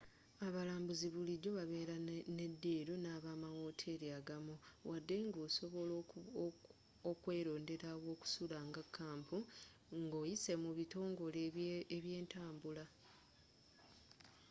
abalambuuzi bulijjo babeera ne diilu n'amawooteri agamu wadde nga osobola okwelondera awokusula nga kampu ng'oyise mu bitongole byentambula